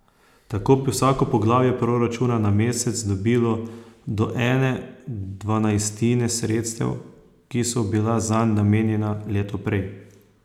Tako bi vsako poglavje proračuna na mesec dobilo do ene dvanajstine sredstev, ki so bila zanj namenjena leto prej.